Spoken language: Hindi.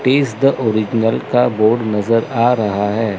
पीस द ओरिजिनल का बोर्ड नजर आ रहा है।